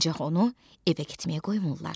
Ancaq onu evə getməyə qoymurlar.